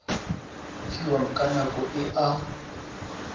fiwang ka nako e a